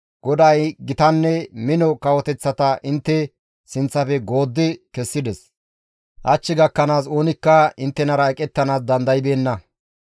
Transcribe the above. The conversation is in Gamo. «GODAY gitanne mino kawoteththata intte sinththafe gooddi kessides; hach gakkanaas oonikka inttenara eqettanaas dandaybeenna.